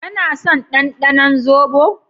kana son ɗanɗanon zobo?